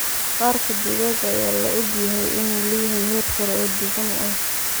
Maqaarka digaaga ayaa la og yahay inuu leeyahay heer sare oo dufan ah.